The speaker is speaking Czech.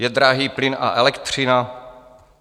Je drahý plyn a elektřina?